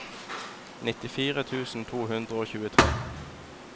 nittifire tusen to hundre og tjuetre